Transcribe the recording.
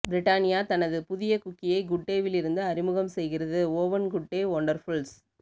Britannia தனது புதிய குக்கீயை குட்டேவிலிருந்து அறிமுகம் செய்கிறது ஓவன் குட்டே ஒன்டர்புல்ஸ்